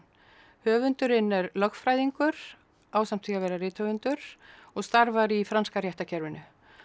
höfundurinn er lögfræðingur ásamt því að vera rithöfundur og starfar í franska réttarkerfinu